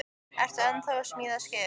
En ertu ennþá að smíða skip?